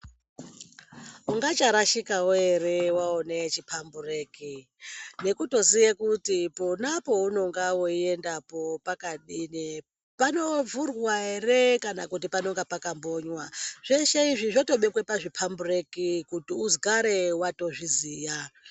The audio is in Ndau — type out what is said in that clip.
Ungcharashikawo ere waona chipambureki nekutoziye kuti pona peunenge weiendapo pakadini, panovhuwa ere kana kuti panenge pakambonywa. Zveshe izvi zvotobekwa pazvipambureki kuti ugare watozviziya.